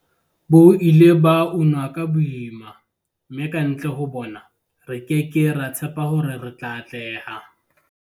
Bo ile ba unwa ka boima, mme kantle ho bona, re ke ke ra tshepa hore re tla atleha. v